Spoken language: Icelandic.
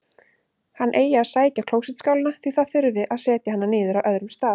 Hann eigi að sækja klósettskálina, því það þurfi að setja hana niður á öðrum stað.